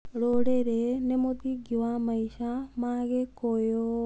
Rũrĩrĩ nĩ mũthingi wa maica ma Gĩkũyũ.